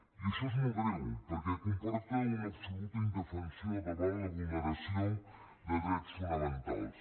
i això és molt greu perquè comporta una absoluta indefensió davant la vulneració de drets fonamentals